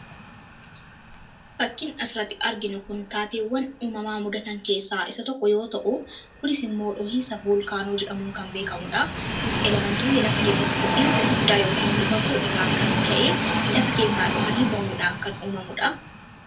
fakkin asiratti arginu kun taateewwan uumamaa mudatan keessaa isa tokko yoo ta'u kunis immoo dhohiinsa voolkaanoo jedhamuun kan beekamudha kunis elementoonni lafa keessatti ho'iinsi guddaa yookiin immoo baquu irraan kan ka'ee lafa keessaa dhohanii ba'uudhaan kan uumamuudha